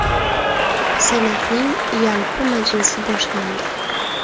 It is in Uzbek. Senatning yalpi majlisi boshlandi.